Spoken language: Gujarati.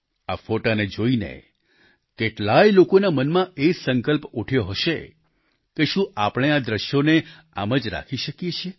આ ફોટોને જોઈને કેટલાય લોકોના મનમાં એ સંકલ્પ ઉઠ્યો હશે કે શું આપણે આ દ્રશ્યોને આમ જ રાખી શકીએ છીએ